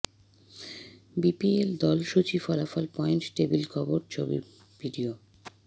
BPL দল সূচি ফলাফল পয়েন্ট টেবিল খবর ছবি ভিডিও